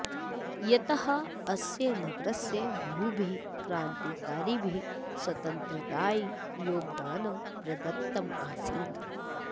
यतः अस्य नगरस्य बहुभिः क्रान्तिकारिभिः स्वातन्त्रतायै योगदानं प्रदत्तम आसीत्